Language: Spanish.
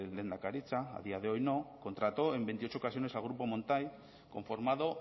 lehendakaritza a día de hoy no contrató en veintiocho ocasiones al grupo montai conformado